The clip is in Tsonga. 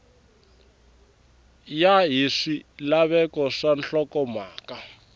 ya hi swilaveko swa nhlokomhaka